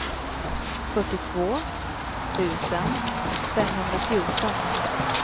fyrtiotvå tusen femhundrafjorton